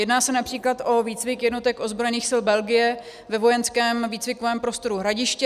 Jedná se například o výcvik jednotek ozbrojených sil Belgie ve vojenském výcvikovém prostoru Hradiště.